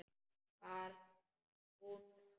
Var það hún sem.?